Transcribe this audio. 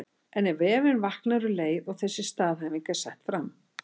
En efinn vaknar um leið og þessi staðhæfing er sett fram.